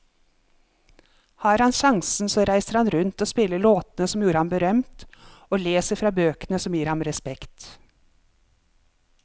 Har han sjansen så reiser han rundt og spiller låtene som gjorde ham berømt, og leser fra bøkene som gir ham respekt.